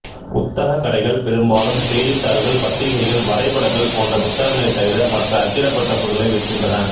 புத்தகக் கடைகள் பெரும்பாலும் செய்தித்தாள்கள் பத்திரிகைகள் வரைபடங்கள் போன்ற புத்தகங்களைத் தவிர மற்ற அச்சிடப்பட்ட பொருட்களை விற்கின்றன